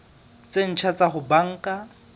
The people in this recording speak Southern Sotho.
tse ntjha tsa ho banka